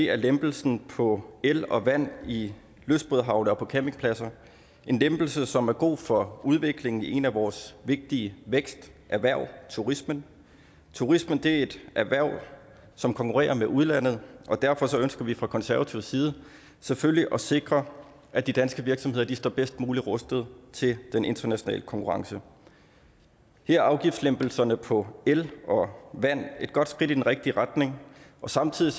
er lempelsen på el og vand i lystbådehavne og på campingpladser en lempelse som er god for udviklingen i et af vores vigtige væksterhverv turismen turismen er jo et erhverv som konkurrerer med udlandet og derfor ønsker vi fra konservativ side selvfølgelig at sikre at de danske virksomheder står bedst muligt rustet til den internationale konkurrence her er afgiftslempelserne på el og vand et godt skridt i den rigtige retning samtidig